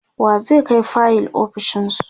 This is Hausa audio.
wa zai Kai fayil ofishinsu?